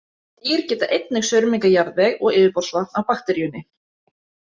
Dýr geta einnig saurmengað jarðveg og yfirborðsvatn af bakteríunni.